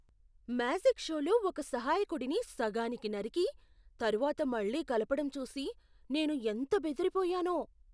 Magic షోలో ఒక సహాయకుడిని సగానికి నరికి, తరువాత మళ్ళీ కలపడం చూసి నేను ఎంత బెదిరిపోయానో.